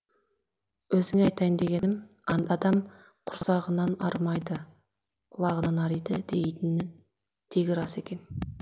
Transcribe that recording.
өзіңе айтайын дегенім адам құрсағынан арымайды құлағынан ариды дейтіні тегі рас екен